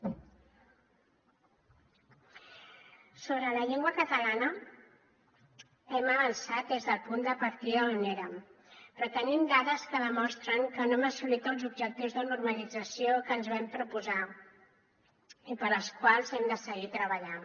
sobre la llengua catalana hem avançat des del punt de partida on érem però tenim dades que demostren que no hem assolit els objectius de normalització que ens vam proposar i pels quals hem de seguir treballant